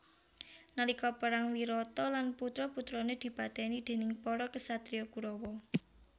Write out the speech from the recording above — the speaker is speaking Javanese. Nalika perang Wirata lan putra putrane dipateni déning para ksatria Kurawa